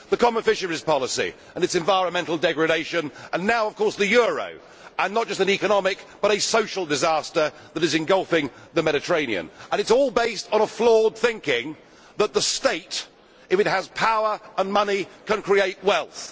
The common fisheries policy and its environmental degradation and now of course the euro are not just an economic but a social disaster which is engulfing the Mediterranean and it is all based on flawed thinking that the State if it has power and money can create wealth.